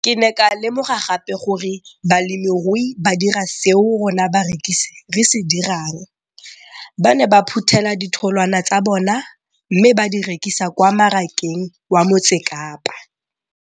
Ke ne ka lemoga gape gore balemirui ba dira seo rona barekisi re se dirang, ba ne ba phuthela ditholwana tsa bona mme ba di rekisa kwa marakeng wa Motsekapa.